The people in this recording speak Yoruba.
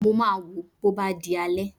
Mo máa wò ó bó bá di alẹ́